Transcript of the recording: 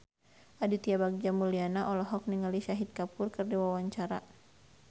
Aditya Bagja Mulyana olohok ningali Shahid Kapoor keur diwawancara